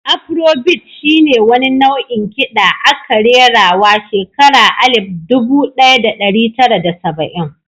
Afro bit shi ne wani nau'in kiɗa aka rerawa shekara alif dubu ɗaya da ɗari tara da saba'in.